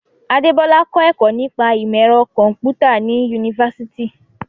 Adebola kọ́ ẹ̀kọ́ nípa ìmọ̀ ẹ̀rọ kọ̀m̀pútà ní yunifásítì.